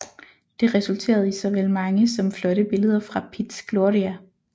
Det resulterede i såvel mange som flotte billeder fra Piz Gloria